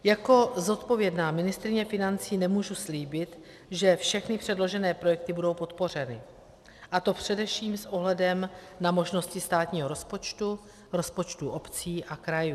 Jako zodpovědná ministryně financí nemůžu slíbit, že všechny předložené projekty budou podpořeny, a to především s ohledem na možnosti státního rozpočtu, rozpočtů obcí a krajů.